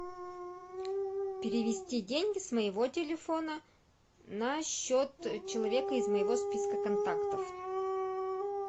перевести деньги с моего телефона на счет человека из моего списка контактов